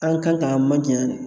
An kan k'an man janyan de